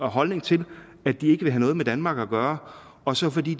holdning til at de vil have noget med danmark at gøre og så fordi